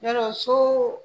Yarɔ so